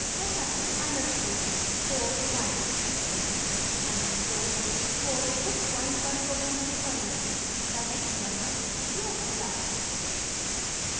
underscore underscore file capital में underscore underscore उस point पर प्रोग्राम के फाइलनेम को दिखाता है जहाँ यह उपयोग होता है